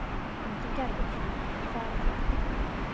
Ingigerður, hvað er að frétta?